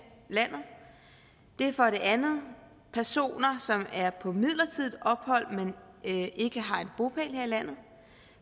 landet det er for det andet personer som er på midlertidigt ophold men ikke har en bopæl her i landet